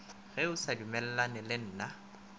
ge o sa dumellane le